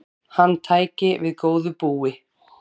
Hann tæki við góðu búi.